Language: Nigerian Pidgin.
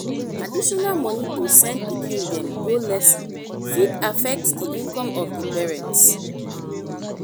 additional money to send pikin dem go lesson fit affect di income of the parents